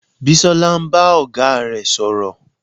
Bisola ń bá ọ̀gá rẹ̀ sọ̀rọ̀